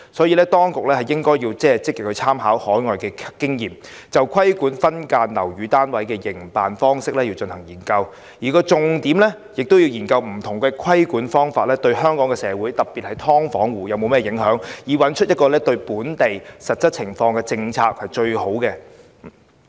因此，當局應積極參考海外經驗，就規管分間樓宇單位的營辦方式進行研究，而重點是研究不同規管方式對香港社會特別是"劏房戶"的影響，以確立一套最適用於本地實際情況的政策。